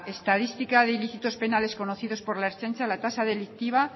estadística de ilícitos penales conocidos por la ertzaintza la tasa delictiva